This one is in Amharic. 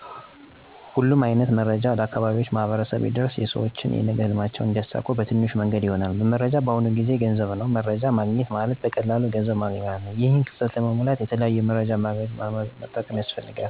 ሁሉም አይነት መረጃዎች ለአካባቢው ማህበረሰብ ቢደርስ ሰውች የነገ ህልማቸውን እንዲያሳኩ ትንሹ መንገድ ይሆናል። መረጃ በአሁኑ ጊዜ ገንዘብ ነው። መረጃ ማግኘት ማለት በቀላሉ ገንዘብ ማገኘት ማለት ነው። ይህን ክፍተት ለመሙላት የተለያዩ የመረጃ ማድረሻ የግንኙነት መረቦችን መዘርጋት ያስፈልጋል። ለምሳሌ ራድዮ፣ ቴሌቪዥን፣ ማህበራዊ ሚድያዎች እና ሌሎችን የግንኙነት አድማስን በማስፋት መረጃ ሊያደርሱ የሚችሉ መንገዶችን በአግባቡ በመቀየስ ከታለመላቸው አለማ ውጭ እንዳይዉሉ መከታተል ያስፈልጋል።